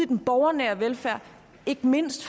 den borgernære velfærd ikke mindst